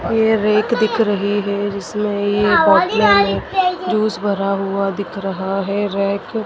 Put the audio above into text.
ये रैक दिख रही हैं जिसमें एक बोतल है जूस भरा हुआ दिख रहा है रैक --